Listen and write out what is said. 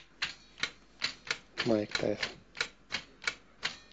майк тайсон